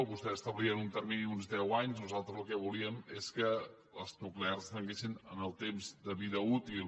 vostès establien un termini d’uns deu anys nosaltres el que volíem és que les nuclears tanquessin en el temps de vida útil